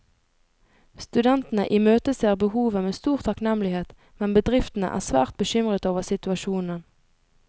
Studentene imøteser behovet med stor takknemlighet, men bedriftene er svært bekymret over situasjonen.